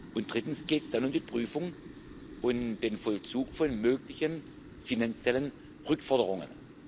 Und drittens geht es dann um die Prüfung und den Vollzug von möglichen finanziellen Rückforderungen.